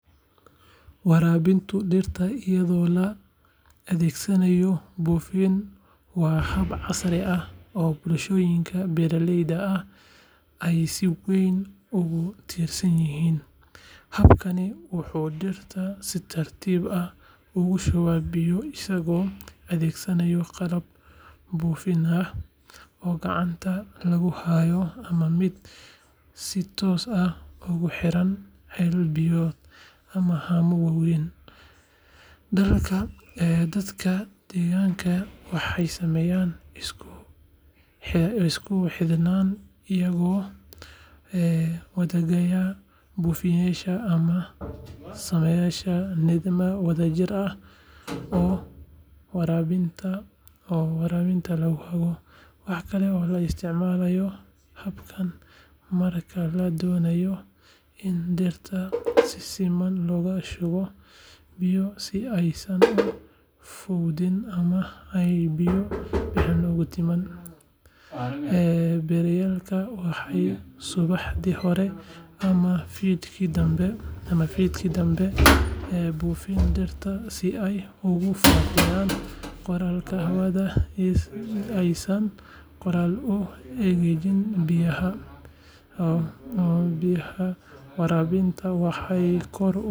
Waraabinta dhirta iyadoo la adeegsanayo buufin waa hab casri ah oo bulshooyinka beeralayda ahi ay si weyn ugu tiirsan yihiin. Habkani wuxuu dhirta si tartiib ah ugu shubaa biyo isagoo adeegsanaya qalab buufin ah oo gacanta lagu hayo ama mid si toos ah ugu xiran ceel biyoodyo ama haamo waaweyn. Dadka deegaanka waxay sameeyaan isku xidhnaan iyagoo wadaagaya buufiyeyaasha ama samaysanaya nidaam wadajir ah oo waraabinta lagu hago. Waxa kale oo la isticmaalaa habkan marka la doonayo in dhirta si siman loogu shubo biyo si aysan u fowdin ama aanay biyo badani uga luntin. Beeralayda waxay subaxdii hore ama fiidkii dambe buufiyaa dhirta si ay uga faa’iidaystaan qoyaanka hawada isla markaana aysan qorraxdu u engejin biyaha. Waraabintani waxay kor u.